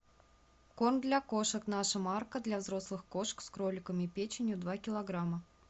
корм для кошек наша марка для взрослых кошек с кроликом и печенью два килограмма